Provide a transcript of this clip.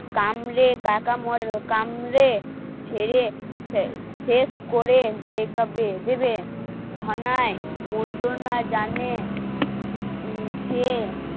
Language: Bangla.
কামড়ে কাকা কামড়ে ছেড়ে শেষ করে দে কবে দিবে ধনাই মন্ত্রণা জানে সে